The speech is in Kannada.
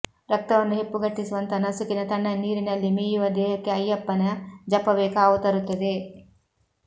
ರಕ್ತವನ್ನು ಹೆಪ್ಪುಗಟ್ಟಿಸುವಂಥ ನಸುಕಿನ ತಣ್ಣನೆ ನೀರಿನಲ್ಲಿ ಮೀಯುವ ದೇಹಕ್ಕೆ ಅಯ್ಯಪ್ಪನ ಜಪವೇ ಕಾವು ತರುತ್ತದೆ